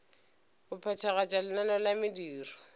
go phethagatša lenaneo la mediro